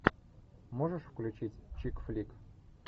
можешь включить чикфлик